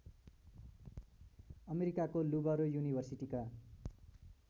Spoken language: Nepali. अमेरिकाको लुबरो युनिभर्सिटीका